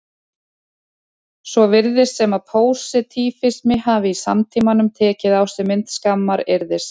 Svo virðist sem að pósitífismi hafi í samtímanum tekið á sig mynd skammaryrðis.